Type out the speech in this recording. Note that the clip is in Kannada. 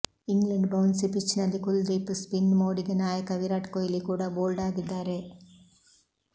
ಇಂಗ್ಲೆಂಡ್ ಬೌನ್ಸಿ ಪಿಚ್ನಲ್ಲಿ ಕುಲದೀಪ್ ಸ್ಪಿನ್ ಮೋಡಿಗೆ ನಾಯಕ ವಿರಾಟ್ ಕೊಹ್ಲಿ ಕೂಡ ಬೋಲ್ಡ್ ಆಗಿದ್ದಾರೆ